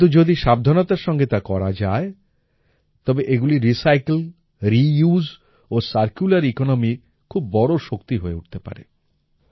কিন্তু যদি সাবধানতার সঙ্গে তা করা যায় তবে এগুলি রিসাইকেল রিউস ও সার্কুলার ইকোনমি খুব বড়ো শক্তি হয়ে উঠতে পারে